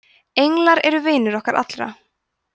englar eru vinir okkar allra